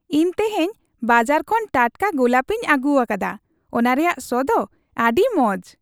ᱤᱧ ᱛᱮᱦᱮᱧ ᱵᱟᱡᱟᱨ ᱠᱷᱚᱱ ᱴᱟᱴᱠᱟ ᱜᱳᱞᱟᱯᱤᱧ ᱟᱹᱜᱩᱣᱟᱠᱟᱫᱟ ᱾ ᱚᱱᱟ ᱨᱮᱭᱟᱜ ᱥᱚ ᱫᱚ ᱟᱹᱰᱤ ᱢᱚᱡ ᱾